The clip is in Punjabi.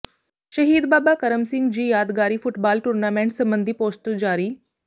ਸ਼ਹੀਦ ਬਾਬਾ ਕਰਮ ਸਿੰਘ ਜੀ ਯਾਦਗਾਰੀ ਫੱੁਟਬਾਲ ਟੂਰਨਾਮੈਂਟ ਸਬੰਧੀ ਪੋਸਟਰ ਜਾਰੀ